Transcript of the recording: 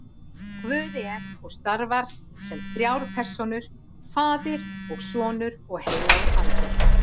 Guð er og starfar sem þrjár persónur, faðir og sonur og heilagur andi.